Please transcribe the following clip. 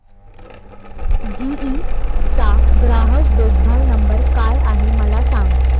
GE चा ग्राहक देखभाल नंबर काय आहे मला सांग